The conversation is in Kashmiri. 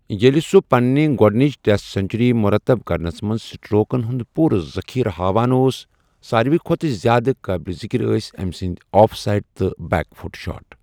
ییٚلہِ سُہ پنِنہِ گۄڈٕنِچ ٹیسٹ سنچری مرتب کرنَس منٛز سٹروکن ہُند پوٗرٕ ذخیرٕ ہاوان اوس، ساروٕے کھۄتہٕ زِیٛادٕ قٲبلِ ذِکِر ٲسۍ أمۍ سٕنٛدۍ آف سایڈ تہٕ بیک فُٹ شاٹ ۔